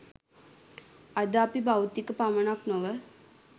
අද අපි භෞතික පමණක් නොව